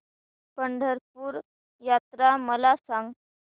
पंढरपूर यात्रा मला सांग